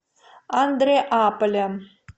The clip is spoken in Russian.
андреаполем